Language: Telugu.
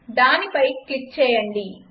దానిపై క్లిక్ చెయండి